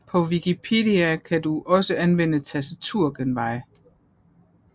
På Wikipedia kan du også anvende tastaturgenveje